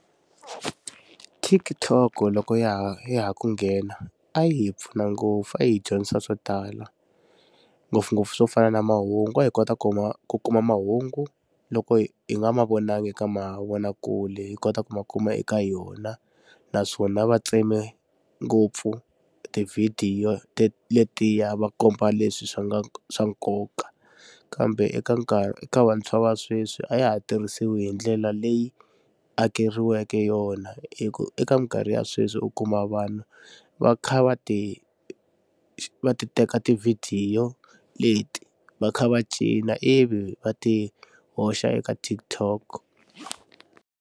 TikTok loko ya ha ya ha ku nghena a yi hi pfuna ngopfu a yi hi dyondzisa swo tala ngopfungopfu swo fana na mahungu a hi kota ku kuma mahungu loko hi nga ma vonangi eka mavonakule hi kota ku ma kuma eka yona naswona va tseme ngopfu tivhidiyo letiya va komba leswi swi nga swa nkoka kambe eka nkarhi eka vantshwa va sweswi a ya ha tirhisiwi hi ndlela leyi akeriweke yona hi ku eka mikarhi ya sweswi u kuma vanhu va kha va ti va ti teka tivhidiyo leti va kha va cina ivi va ti hoxa eka TikTok.